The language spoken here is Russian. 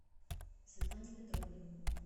светлане петровне